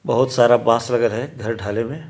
बहुत सारा बांस वगेरा हैं घर ढाले मे--